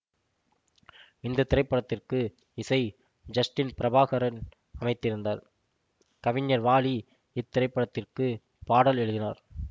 இந்த திரைப்படத்திற்கு இசை ஜஸ்டின் பிரபாகரன் அமைத்திருந்தார் கவிஞர் வாலி இத்திரைப்படத்திற்கு பாடல் எழுதினார்